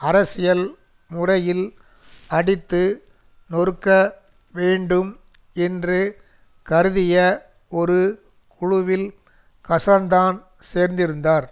அரசியல்முறையில் அடித்து நொருக்க வேண்டும் என்று கருதிய ஒரு குழுவில் கசான்தான் சேர்ந்திருந்தார்